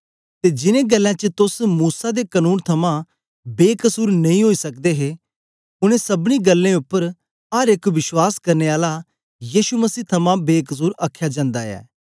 ते जिन्नें गल्लें च तोस मूसा दे कनून थमां बेकसुर नेई ओई सकदे हे उनै सबनीं गल्लें उपर अर एक विश्वास करने आला यीशु मसीह थमां बेकसुर आखया जन्दा ऐ